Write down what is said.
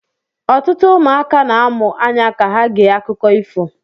Ọtụtụ ụmụaka na-amụ anya ka ha gee akụkọ ifo